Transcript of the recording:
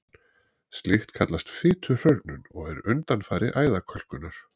Slíkt kallast fituhrörnun og er undanfari æðakölkunar.